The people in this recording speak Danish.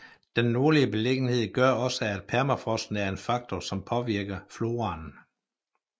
Den nordlige beliggenhed gør også at permafrosten er en faktor som påvirker floraen